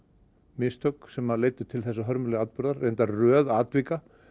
mistök sem leiddu til þessa hörmulega atburðar reyndar röð atvika